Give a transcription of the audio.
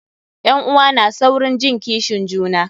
Ƴan'uwa na saurin jin kishin juna.